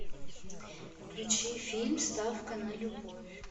включи фильм ставка на любовь